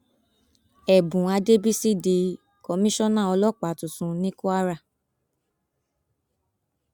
ẹbùn àdẹsísì di komisanna ọlọpàá tuntun ní kwara